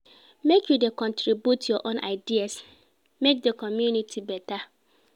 Make you dey contribute your own ideas, make di community beta.